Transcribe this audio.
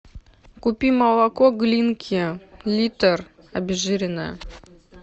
купи молоко глинки литр обезжиренное